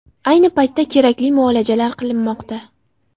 Ayni paytda kerakli muolajalar qilinmoqda.